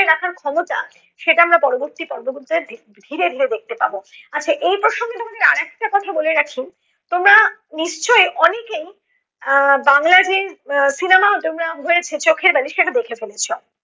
রাখার ক্ষমতা সেটা আমরা পরবর্তী পর্ব গুলতে ধি~ ধীরে ধীরে দেখতে পাব। আচ্ছা এই প্রসঙ্গে তোমাদের আর একটা কথা বলে রাখি, তোমরা নিশ্চয়ই অনেকেই আহ বাংলা যে আহ cinema তোমরা হয়েছে চোখের বালি সেটা দেখে ফেলেছ।